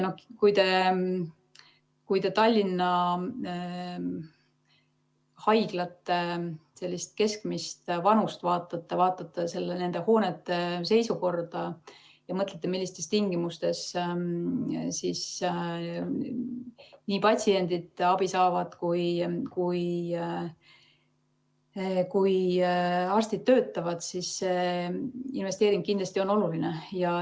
Kui te Tallinna haiglate keskmist vanust vaatate, vaatate nende hoonete seisukorda ja mõtlete, millistes tingimustes patsiendid abi saavad ja arstid töötavad, siis näete, et see investeering on kindlasti oluline.